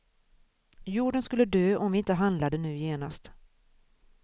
Jorden skulle dö om vi inte handlade nu genast.